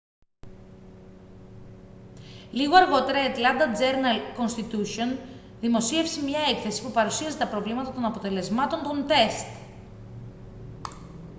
λίγο αργότερα η ατλάντα τζέρναλ-κονστιτούσιον δημοσίευσε μια έκθεση που παρουσίαζε τα προβλήματα των αποτελεσμάτων των τεστ